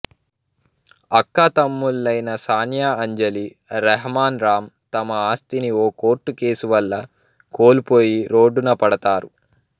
అక్కాతమ్ముళ్ళైన సానియా అంజలి రహ్మాన్ రామ్ తమ ఆస్తిని ఓ కోర్ట్ కేస్ వల్ల కోల్పోయి రోడ్డున పడతారు